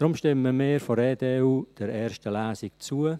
Deshalb stimmen wir von der EDU der ersten Lesung zu.